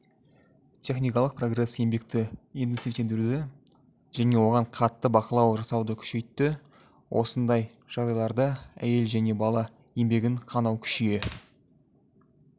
техникалық прогресс еңбекті интенсивтендіруді және оған қатты бақылау жасауды күшейтті осындай жағдайларда әйел және бала еңбегін қанау күшейе